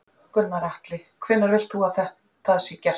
Gunnar Atli: Hvenær vilt þú að það sé gert?